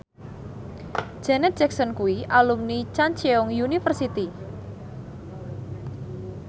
Janet Jackson kuwi alumni Chungceong University